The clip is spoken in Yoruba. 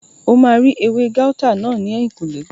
O máa rí ewé gáútà náà ní ẹ̀yìnkùlé